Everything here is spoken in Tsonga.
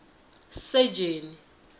sejeni